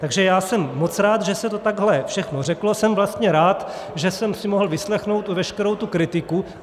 Takže já jsem moc rád, že se to takhle všechno řeklo, jsem vlastně rád, že jsem si mohl vyslechnout veškerou tu kritiku.